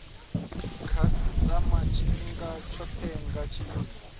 khasitama tshifhinga tshothe nga tshiimo